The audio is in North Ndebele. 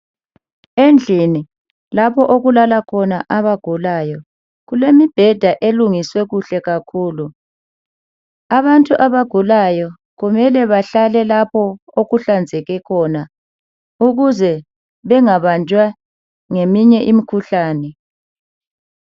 Endlini lapho okulala khona abagulayo kulemibheda elungiswe kuhle kakhulu .Abantu abagulayo kumele bahlale lapho okuhlanzeke khona ukuze bengabanjwa ngeminye imikhuhlane.